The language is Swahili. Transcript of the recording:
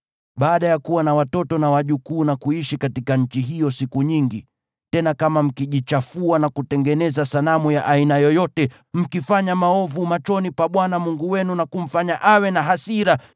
Baada ya kuwa na watoto na wajukuu na kuishi katika nchi hiyo siku nyingi, tena kama mkijichafua na kutengeneza sanamu ya aina yoyote, mkifanya maovu machoni pa Bwana Mungu wenu na kumfanya awe na hasira,